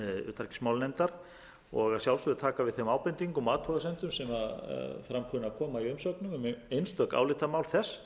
utanríkismálanefndar og að sjálfsögðu taka við þeim ábendingum og afhugasemdum sem fram kunna að koma í umsögnum um einstök álitamál þess